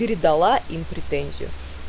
передала им претензию